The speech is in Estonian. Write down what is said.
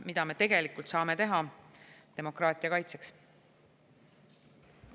Mida me tegelikult saame demokraatia kaitseks teha?